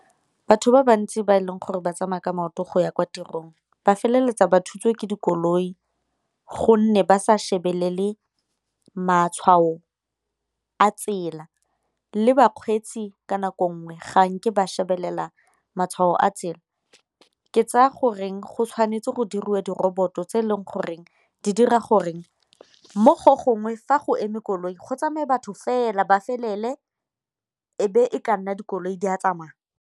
Batho ba bantsi ba e leng gore ba tsamaya ka maoto go ya kwa tirong ba feleletsa ba thutswe ke dikoloi, gonne ba sa shebelele matshwao a tsela le bakgweetsi ka nako nngwe ga nke ba shebelela matshwao a tsela. Ke tsaya goreng go tshwanetse go dirwa di roboto tse e leng goreng di dira gore mo go gongwe fa go eme koloi go tsamaya batho fela ba felele ebe e ka nna dikoloi di a tsamaya.